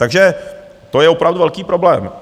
Takže to je opravdu velký problém.